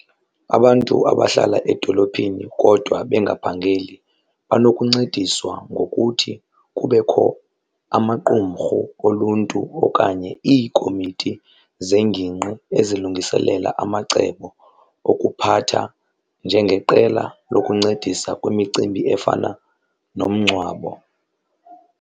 Abantu abahlala edolophini kodwa bengaphangeli banokuncediswa ngokuthi kubekho amaqumrhu oluntu okanye iikomiti zengingqi ezilungiselela amacebo okuphatha njengeqela lokuncedisa kwimicimbi efana nomngcwabo.